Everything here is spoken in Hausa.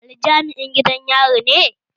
Ali jami'in gidan yari ne?